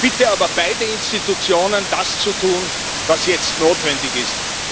Ich bitte aber beide Institutionen, das zu tun, was jetzt notwendig ist.